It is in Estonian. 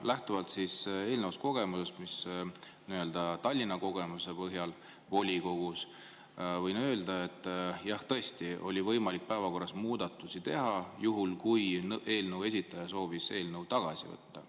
Lähtuvalt eelnevast kogemusest Tallinna volikogus võin öelda, et jah, tõesti oli võimalik päevakorras muudatusi teha, juhul kui eelnõu esitaja soovis eelnõu tagasi võtta.